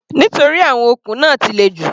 Nítorí àwọn okùn náà ti le jù.